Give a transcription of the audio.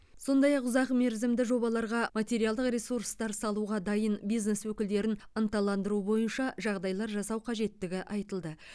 сондай ақ ұзақ мерзімді жобаларға материалдық ресурстар салуға дайын бизнес өкілдерін ынталандыру бойынша жағдайлар жасау қажеттігі айтылды